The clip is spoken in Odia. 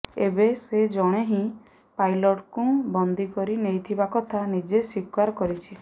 ଏବେ ସେ ଜଣେ ହିଁ ପାଇଲଟଙ୍କୁ ବନ୍ଦୀ କରି ନେଇଥିବା କଥା ନିଜେ ସ୍ୱୀକାର କରିଛି